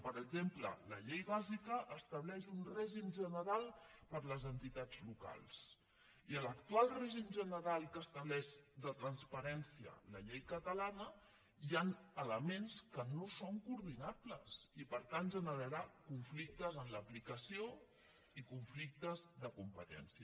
per exemple la llei bàsica estableix un règim general per a les entitats locals i en l’actual règim general que estableix de transparència la llei catalana hi ha elements que no són coordinables i per tant generarà conflictes en l’aplicació i conflictes de competència